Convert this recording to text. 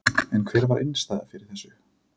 En var innistæða fyrir þessu?